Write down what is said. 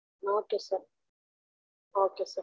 okay sir okay